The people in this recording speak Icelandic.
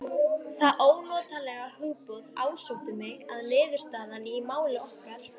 Það ónotalega hugboð ásótti mig að niðurstaðan í máli okkar